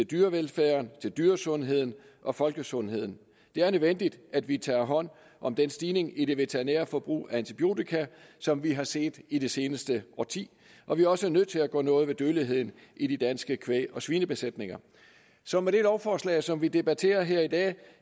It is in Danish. dyrevelfærden dyresundheden og folkesundheden det er nødvendigt at vi tager hånd om den stigning i det veterinære forbrug af antibiotika som vi har set i det seneste årti og vi er også nødt til at gøre noget ved dødeligheden i de danske kvæg og svinebesætninger så med det lovforslag som vi debatterer her i dag